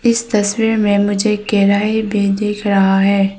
इस तस्वीर में मुझे कढ़ाई भी दिख रहा है।